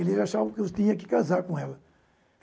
Ele achava que eu tinha que casar com ela.